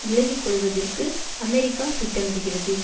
விலகிக்கொள்வதற்கு America திட்டமிடுகிறது